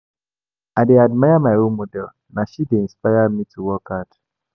I dey admire my role model, na she dey inspire me to work hard.